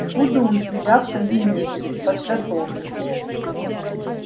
буду у себя в кабинете подготовлюсь